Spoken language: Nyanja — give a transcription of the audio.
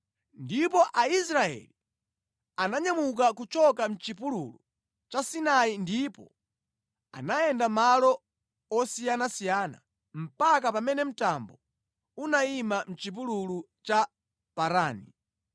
Ndipo Aisraeli ananyamuka kuchoka mʼchipululu cha Sinai ndipo anayenda malo osiyanasiyana mpaka pamene mtambo unayima mʼchipululu cha Parani.